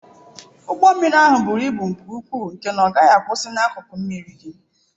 Ụgbọ mmiri ahụ buru ibu nke ukwuu nke na ọ gaghị akwusi n'akụkụ mmiri gị.